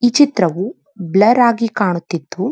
ಈ ಚಿತ್ರವೂ ಬ್ಲರ್ ಆಗಿ ಕಾಣುತ್ತಿದ್ದು.